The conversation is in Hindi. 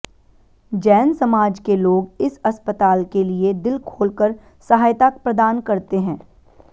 जैन समाज के लोग इस अस्पताल के लिए दिल खोलकर सहायता प्रदान करते हैं